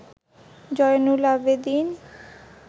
Zainul Abedin